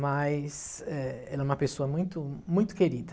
Mas eh ela é uma pessoa muito muito querida.